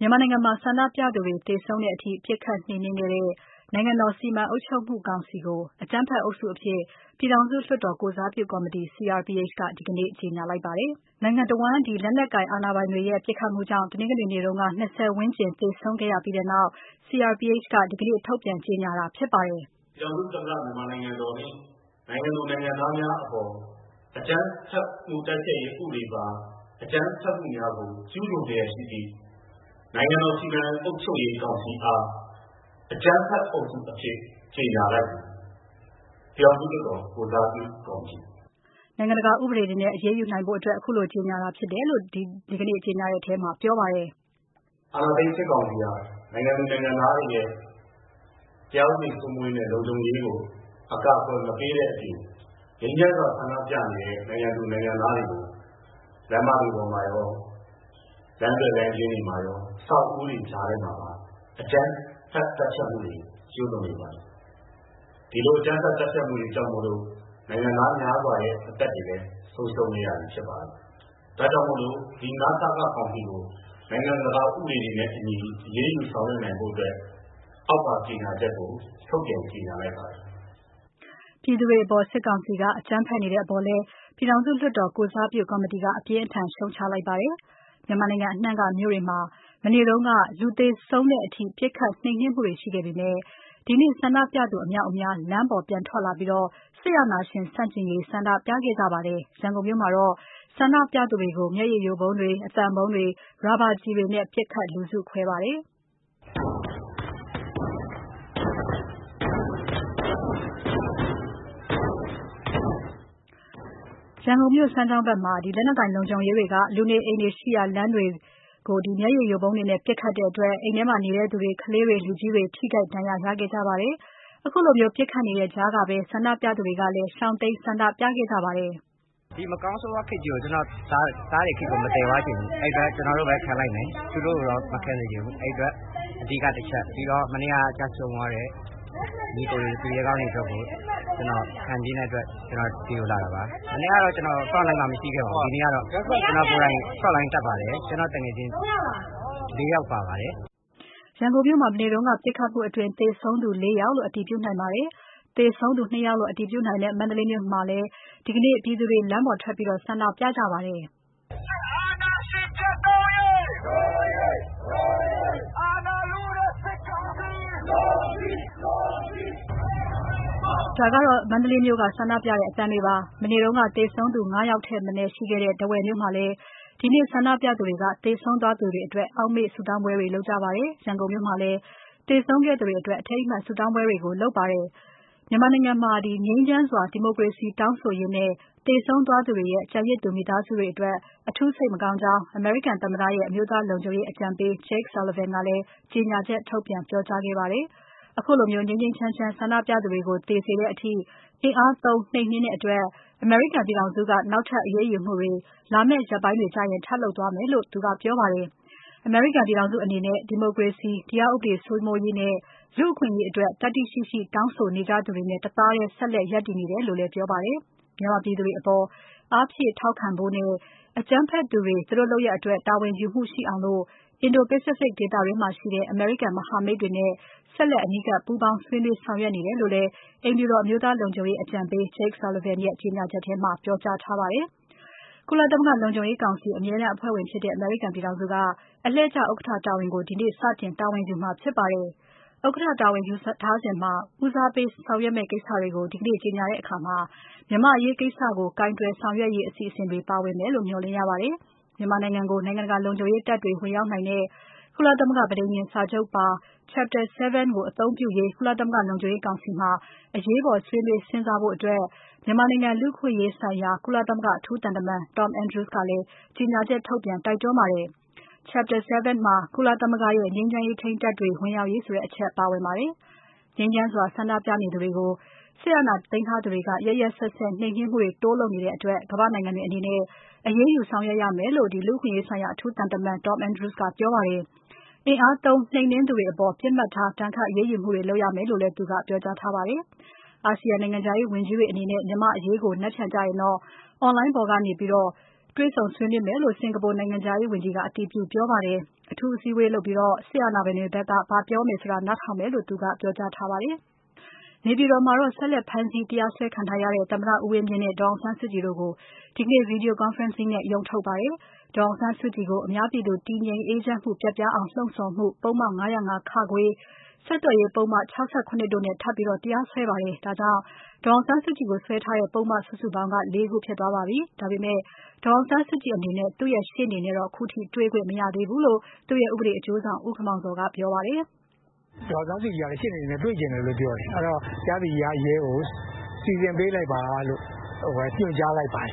မြန်မာနိုင်ငံမှာ ဆန္ဒပြသူတွေ သေဆုံးတဲ့အထိ ပစ်ခတ်နှိမ်နင်းခဲ့တဲ့ နိုင်ငံတော် စီမံအုပ်ချုပ်မှုကောင်စီကို အကြမ်းဖက်အုပ်စုအဖြစ် ပြည်ထောင်စုလွှတ်တော် ကိုယ်စားပြုကော်မတီ CRPH က ဒီနေ့ ကြေညာလိုက်ပါတယ်။ နိုင်ငံတဝန်း လက်နက်ကိုင်အာဏာပိုင်တွေရဲ့ ပစ်ခတ်မှုကြောင့် တနင်္ဂနွေနေ့က ၂၀ ဝန်းကျင်သေဆုံးခဲ့ရပြီးနောက် CRPH က ဒီနေ့ ထုတ်ပြန်ကြေညာတာ ဖြစ်ပါတယ်။ "ပြည်ထောင်စုသမ္မတနိုင်ငံတော်နှင့် နိုင်ငံသူ၊ နိုင်ငံသားများအပေါ် အကြမ်းဖျက်မှုတိုက်ဖျက်ရေး ဥပဒေအပါ အကြမ်းဖက်မှုများကို ကျူးလွန်လျက်ရှိသည့် နိုင်ငံတော်စီမံအုပ်ချုပ်ရေးကောင်စီအား အကြမ်းဖက်အုပ်စုအဖြစ် ကြေငြာလိုက်သည်။ ပြည်ထောင်စုလွှတ်တော် ကိုယ်စားပြုကော်မတီ။" နိုင်ငံတကာဥပဒေတွေနဲ့ အရေးယူနိုင်ဖို့အတွက် အခုလို ကြေငြာတာဖြစ်တယ်လို့ ဒီကနေ့ ကြေငြာတဲ့အထဲမှာ ပြောပါတယ်။ "အာဏာသိမ်းစစ်ကောင်စီဟာ နိုင်ငံသူ၊ နိုင်ငံသားတွေရဲ့ တရားဥပဒေစိုးမိုးရေးနဲ့ လုံခြုံရေးကို အကာအကွယ်မပေးတဲ့အပြင် ငြိမ်းချမ်းစွာ ဆန္ဒပြနေတဲ့ နိုင်ငံသူ၊ နိုင်ငံသားတွေကို လမ်းမတွေမှာရော၊ လမ်းသွယ်လမ်းကျဉ်းတွေမှာရော၊ အဆောက်အဦးတွေကြားထဲမှာပါ အကြမ်းဖက်သတ်ဖြတ်မှုတွေ ကျူးလွန်နေပါတယ်။ ဒီလို အကြမ်းဖက်သတ်ဖြတ်မှုတွေကြောင့်မို့လို့ နိုင်ငံသားများစွာရဲ့ အသက်လည်း ဆုံးရှုံးခဲ့ရပါတယ်။ ဒါကြောင့်မို့လို့ ဒီ န.စ.က ကောင်စီကို နိုင်ငံတကာ ဥပဒေတွေနဲ့အညီ အရေးယူဆောင်ရွက်နိုင်ဖို့အတွက် အောက်ပါ ကြေငြာချက်ကို ထုတ်ပြန်ကြေငြာလိုက်ပါတယ်။" ပြည်ထောင်စုလွှတ်တော် ကိုယ်စားပြုကော်မတီက အပြင်းထန်ဆုံး ရှုတ်ချလိုက်ပါတယ်။ မြန်မာနိုင်ငံအနှံ့က မြို့တွေမှာ မနေ့က လူသေဆုံးတဲ့အထိ ပစ်ခတ်နှိမ်နင်းမှုတွေ ရှိခဲ့ပေမဲ့ ဒီနေ့ ဆန္ဒပြသူအမြောက်အများ လမ်းပေါ် ပြန်ထွက်လာပြီးတော့ စစ်အာဏာရှင်ဆန့်ကျင်ရေး ဆန္ဒပြခဲ့ကြပါတယ်။ ရန်ကုန်မြို့မှာတော့ ဆန္ဒပြသူတွေကို မျက်ရည်ယိုဗုံးတွေ၊ အသံဗုံးတွေ၊ ရာဘာကျည်တွေနဲ့ ပစ်ခတ်လူစုခွဲခဲ့ပါတယ်။ ရန်ကုန်မြို့ စမ်းချောင်းဘက်မှာ လက်နက်ကိုင်လုံခြုံရေးတွေက လူနေအိမ်တွေ ရှိရာလမ်းတွေမှာ မျက်ရည်ယိုဗုံးတွေနဲ့ ပစ်ခတ်တဲ့ အိမ်ထဲနေသူ ကလေးတွေ၊ လူကြီးတွေ ထိခိုက် ဒဏ်ရာတွေ ရခဲ့ကြပါတယ်။ ခုလိုပစ်ခတ်နေတဲ့ကြားကပဲ ဆန္ဒပြသူတွေက ရှောင်တိမ်း ဆန္ဒပြခဲ့ကြတာပါ။ "ဒီမကောင်းဆိုးဝါးခေတ်ကြီးကို ကျနော်သားတွေခေတ်ကို မသယ်သွားချင်ဘူး။ အဲဒီအတွက် ကျနော်တို့ပဲ ခံလိုက်မယ်။ သူတို့ကိုတော့ မခံစေချင်ဘူး။ အဲဒီအတွက် အဓိကတစ်ချက်။ ပြီးတော့ မနေ့က ကျဆုံးသွားတဲ့ ညီအကိုတွေ၊ သူရဲကောင်းတွေအတွက်ကို ကျနော် ခံပြင်းတဲ့အတွက် ဒီကို လာတာပါ။ မနေ့ကတော့ defense line မှာ မရှိခဲ့ပါဘူး။ ဒီနေ့ကတော့ ကျနော်ကိုယ်တိုင် defense line တက်ပါတယ်။ ကျနော့်သူငယ်ချင်း လေးယောက်ပါပါတယ်။" ရန်ကုန်မြို့မှာ မနေ့က ပစ်ခတ်မှုအတွင်း သေဆုံးသူ လေး ယောက်လို့ အတည်ပြုနိုင်ပါတယ်။ သေဆုံးသူ နှစ် ယောက်လို့ အတည်ပြုနိုင်တဲ့ မန္တလေးမြို့မှာလည်း ဒီနေ့ ပြည်သူတွေ လမ်းပေါ်ထွက် ဆန္ဒပြကြပါတယ်။ "စစ်အာဏာရှင် ပျက်သုဉ်းရေး... ဒို့အရေး၊ ဒို့အရေး။ အာဏာလုတဲ့ စစ်ကောင်စီ... အလိုမရှိ၊ အလိုမရှိ။ သပိတ်၊ သပိတ်... မှောက်၊ မှောက်။" ဒါကတော့ မန္တလေးမြို့က ဆန္ဒပြတဲ့ အသံတွေပါ။ မနေ့က သေဆုံးသူ ငါး ယောက်ထက်မနည်းရှိတဲ့ ထားဝယ်မြို့မှာလည်း ဒီနေ့ ဆန္ဒပြသူတွေက သေဆုံးသွားသူတွေအတွက် အောက်မေ့ဆုတောင်းပွဲလုပ်ခဲ့ကြပါတယ်။ ရန်ကုန်မြို့မှာလည်း သေဆုံးသွားသူတွေအတွက် အထိမ်းအမှတ် ဆုတောင်းပွဲတွေကို လုပ်ခဲ့ကြပါတယ်။ မြန်မာနိုင်ငံမှ ငြိမ်းချမ်းစွာ ဒီမိုကရေစီတောင်းဆိုရင်း သေဆုံးသွားသူတွေရဲ့ ကျန်ရစ်သူမိသားစုတွေကို အထူးစိတ်မကောင်းကြောင်း အမေရိကန်သမ္မတရဲ့ အမျိုးသားလုံခြုံရေး အကြံပေး Jake Sullivan ကလည်း ကြေညာချက်ထုတ်ပြန် ပြောကြားခဲ့ပါတယ်။ ခုလို ငြိမ်းငြိမ်းချမ်းချမ်း ဆန္ဒပြသူတွေကို သေစေတဲ့အထိ အင်အားသုံးနှိမ်နင်းတဲ့အတွက် အမေရိကန်ပြည်ထောင်စုက နောက်ထပ် အရေးယူမှုတွေ လာမဲ့ရက်ပိုင်းတွေကျရင် ထပ်လုပ်သွားမယ်လို့ သူကပြောပါတယ်။ အမေရိကန်ပြည်ထောင်စုအနေနဲ့ ဒီမိုကရေစီ၊ တရားဥပဒေစိုးမိုးရေးနဲ့ လူ့အခွင့်အရေးအတွက် သတ္တိရှိရှိ တောင်းဆိုနေကြသူတွေနဲ့ တသားတည်း ဆက်လက်ရပ်တည်နေတယ်လု့ိလည်း ပြောပါတယ်။ မြန်မာပြည်သူတွေအပေါ် အားဖြည့်ထောက်ခံဖို့နဲ့ အကြမ်းဖက်သူတွေ သူတို့လုပ်ရပ်အတွက် တာဝန်ယူမှု ရှိအောင် Indo-Pacific ဒေသတွင်းမှာ ရှိတဲ့ အမေရိကန် မဟာမိတ်တွေနဲ့ ဆက်လက် အနီးကပ်ပူးပေါင်း ဆွေးနွေးဆောင်ရွက်နေတယ်လို့လည်း အိမ်ဖြူတော် အမျိုးသားလုံခြုံရေးအကြံပေး Jake Sullivan ရဲ့ ကြေညာချက်ထဲမှာ ပြောကြားထားပါတယ်။ ကုလသမဂ္ဂလုံခြုံရေးကောင်စီ အမြဲတမ်းအဖွဲ့ဝင်ဖြစ်တဲ့ အမေရိကန်ပြည်ထောင်စုက အလှည့်ကျ ဥက္ကဋ္ဌတာဝန်ကို ဒီနေ့ စတင်တာဝန်ယူမှာဖြစ်ပါတယ်။ ဥက္ကဋ္ဌတာဝန်ယူထားစဉ်မှာ ဦးစားပေးဆောင်ရွက်မယ့်ကိစ္စတွေကို ဒီနေ့ ကြေညာတဲ့အခါ မြန်မာအရေးကိစ္စကို ကိုင်တွယ်ဆောင်ရွက်ရေးအစီအစဉ်တွေ ပါဝင်မယ်လို့ မျှော်လင့်ရပါတယ်။ မြန်မာနိုင်ငံကို နိုင်ငံတကာ လုံခြုံရေးတပ်တွေ ဝင်ရောက်နိုင်တဲ့ ကုလသမဂ္ဂ ပဋိညာဉ်စာချုပ်ပါ Chapter 7 ကို အသုံးပြုရေး ကုလသမဂ္ဂလုံခြုံရေးကောင်စီမှာ အရေးပေါ် ဆွေးနွေးစဉ်းစားဖို့အတွက် မြန်မာနိုင်ငံလူ့အခွင့်အရေးဆိုင်ရာ ကုလသမဂ္ဂအထူးသံတမန် Tom Andrews ကလည်း ကြေညာချက် ထုတ်ပြန် တိုက်တွန်းလိုက်ပါတယ်။ Chapter 7 ထဲမှာ ကုလသမဂ္ဂရဲ့ ငြိမ်းချမ်းရေးထိန်းတပ်တွေ ဝင်ရောက်ရေးဆိုတဲ့ အချက်ပါဝင်ပါတယ်။ ငြိမ်းချမ်းစွာဆန္ဒပြနေသူတွေကို စစ်အာဏာသိမ်းထားသူတွေက ရက်ရက်စက်စက် နှိမ်နင်းမှုတွေ တိုးလုပ်နေတဲ့အတွက် ကမ္ဘာ့နိုင်ငံတွေအနေနဲ့ အရေးယူဆောင်ရွက်ရမယ်လို့ လူ့အခွင့်အရေးဆိုင်ရာ အထူးသံတမန် Tom Andrews ကပြောပါတယ်။ အင်အားသုံးနှိမ်နင်းသူတွေအပေါ် ပစ်မှတ်ထား ဒဏ်ခတ်အရေးယူမှုတွေ လုပ်ရမယ်လို့လည်း သူက ပြောထားပါတယ်။ အာဆီယံနိုင်ငံခြားရေးဝန်ကြီးတွေအနေနဲ့ မြန်မာ့အရေးကို မနက်ဖြန်ကျရင်တော့ အွန်လိုင်းပေါ်ကနေ တွေ့ဆုံဆွေးနွေးမယ်လို့ စင်္ကာပူ နိုင်ငံခြားရေးဝန်ကြီးက အတည်ပြုပြောပါတယ်။ အထူးအစည်းအဝေးလုပ်ပြီးတော့ စစ်အာဏာပိုင်တွေဘက်က ဘာပြောမလဲဆိုတာ နားထောင်မယ်လို့ သူကပြောကြားထားပါတယ်။ နေပြည်တော်မှာတော့ ဆက်လက်ဖမ်းဆီး တရားစွဲခံထားရတဲ့ သမ္မတဦးဝင်းမြင့်နဲ့ ဒေါ်အောင်ဆန်းစုကြည်တို့ကို ဒီနေ့ Video conferencing နဲ့ ရုံးထုတ်ပါတယ်။ ဒေါ်အောင်ဆန်းစုကြည်ကို အများပြည်သူ တည်ငြိမ်အေးချမ်းမှု ပျက်ပြားအောင် လှုံ့ဆော်မှု ပုဒ်မ ၅၀၅ ၊ ဆက်သွယ်ရေးပုဒ်မ ၆၇ တို့နဲ့ ထပ်ပြီး တရားစွဲပါတယ်။ ဒါကြောင့် ဒေါ်အောင်ဆန်းစုကြည်ကို စွဲထားတဲ့ ပုဒ်မစုစုပေါင်းက လေး ခုဖြစ်သွားပါပြီ။ ဒါပေမဲ့ ဒေါ်အောင်ဆန်းစုကြည်အနေနဲ့ သူ့ရဲ့ ရှေ့နေနဲ့ ခုထိတေ့ွခွင့် မရသေးဘူးလို့ သူ့ရဲ့ ဥပဒေ အကျိုးဆောင် ဦးခင်မောင်ဇော်က ပြောပါတယ်။ "ဒေါ်အောင်ဆန်းစုကြည်ကလည်း ရှေ့နေတွေနဲ့ တွေ့ချင်တယ်လို့ ပြောတယ်။ အဲဒီတော့ တရားသူကြီးက ရဲကို စီစဉ်ပေးလိုက်ပါလို့ ညွှန်ကြားလိုက်ပါတယ်။